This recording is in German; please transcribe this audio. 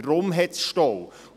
Deshalb gibt es Staus.